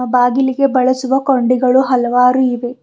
ಬಾಗಿಲಿಗೆ ಬಳಸುವ ಕೊಂಡಿಗಳು ಹಲವಾರು ಇವೆ.